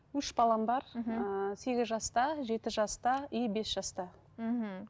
үш балам бар мхм ыыы сегіз жаста жеті жаста и бес жаста мхм